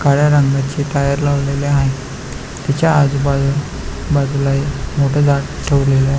काळ्या रंगाचे टायर लावलेले आहे त्याच्या आजूबाजू बाजूला हे मोठ झाड ठेवलेल आ --